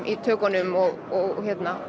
í tökunum og